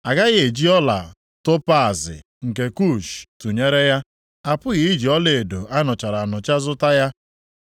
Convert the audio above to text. A gaghị eji ọla topaazi nke Kush tụnyere ya; a pụghị iji ọlaedo a nụchara anụcha zụta ya.